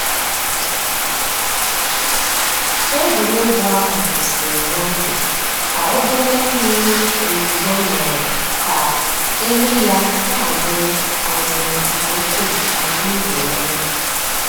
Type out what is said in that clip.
Ègwùrégwú àhú́ kwụ́sị́rị́ n'oge kà òbèlé m̀mìrí ózùzó mèéré kà èlú yá nà-àmị́rị́ àmị́rị́ nkè ùkwú màkà ị̀wụ́ èlú.